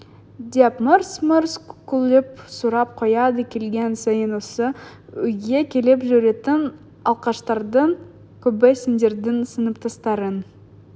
деп мырс-мырс күліп сұрап қояды келген сайын осы үйге келіп жүретін алқаштардың көбі сендердің сыныптастарың